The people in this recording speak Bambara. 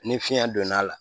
Ni fiɲɛ donna a la